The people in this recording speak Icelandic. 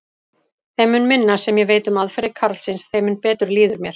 Þeim mun minna sem ég veit um aðferðir karlsins, þeim mun betur líður mér.